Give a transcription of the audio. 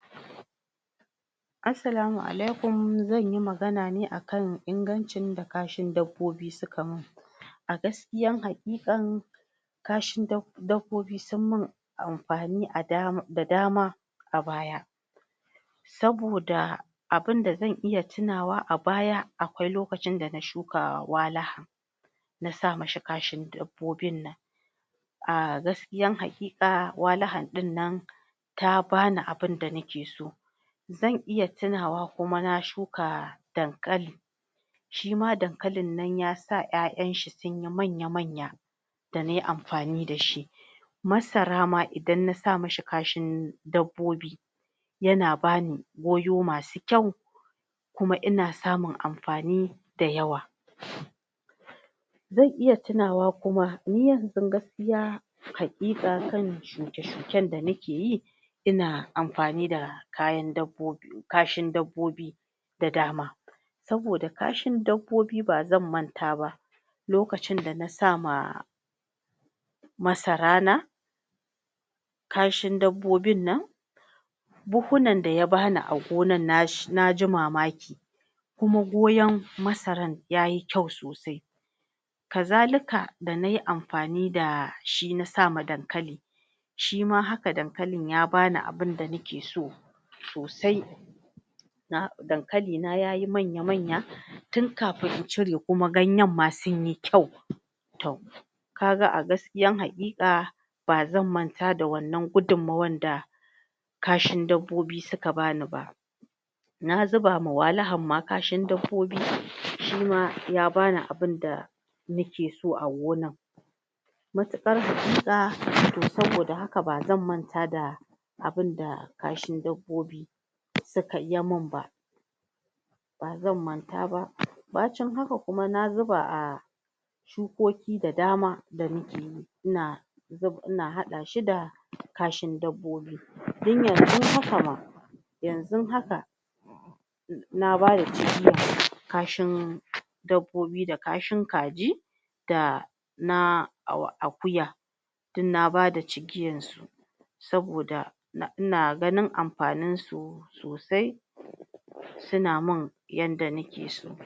Assalamu alaikum, zanyi magana ne akan ingancin da kashin dabbobi suka min a gaskiyan haƙikan kashin dob[um] dabbobi sun min amfani a dama, da dama a baya saboda abunda zan iya tunawa a baya, akwai lokacin dan shuka Wala nasa mishi kashin dabbobin nan a gaskiyan haƙika Walahal ɗin nan ta bani abun da nake so zan iya tunawa kuma na shuka Dankali shima Dankalin nan yasa 'ya'yan shi sunyi manya manya da nayi amfani dashi Masara ma idan nasa mishi kashin dabbobi yana bani goyo masu kyau kuma ina samun amfani da yawa zan iya tunawa kuma ni yanzun gaskiya haƙikan shuke shuken da nake yi ina amfani da kayan dabbobi kashin dabbobi da dama saboda kashin dabbobi ba zan manta ba lokacin dana sama Masara na kashin dabbobin nan buhhunan da ya bani a gonan nashi naji mamaki kuma goyaon Masaran yayi kyau sosai kasalika da nayi amfani dashi na sama Dankali shima haka Dankali ya bani abunda nake so sosai na, Dankalina yayi manya manya tun kafin in cire kuma ganyen ma suyi kyau to kaga a gasikiyan haƙika ba zan manta da wannan gudunmawan da kashin dabbobi suka bani ba na zubawa Walin ma kashin dabbobi shima ya bani abunda ni ke so a gonar matuƙar saboda haka bazan manta da abunda kashin dabbobi sukai, yayi min ba ba zan manta ba bacin haka kuma na zuba a shukoki da dama da muke, ina zub ina haɗa shi da kashin dabbobi dan yanzun haka ma yanzun haka na bada cigiya kashin dabbobi da kashin kaji da na Aku Akuya dun na bada cijiyar su saboda a ina ganin amfani su sosai suna min yadda nake so